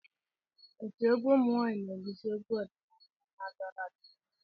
Otu egwu ụmụ nwaanyịna-egosi egwu ọdịnala na-adọrọ adọrọ.